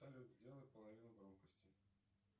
салют сделай половину громкости